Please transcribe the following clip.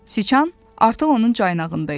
Siçan artıq onun caynağında idi.